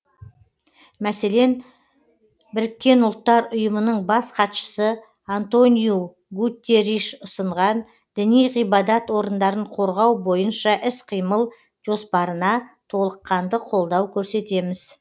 мәселен біріккен ұлттар ұйымының бас хатшысы антониу гутерриш ұсынған діни ғибадат орындарын қорғау бойынша іс қимыл жоспарына толыққанды қолдау көрсетеміз